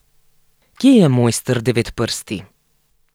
Kje je mojster Devetprsti?